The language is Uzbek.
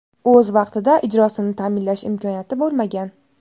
o‘z vaqtida ijrosini ta’minlash imkoniyati bo‘lmagan.